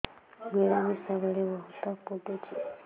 ମିଳାମିଶା ବେଳେ ବହୁତ ପୁଡୁଚି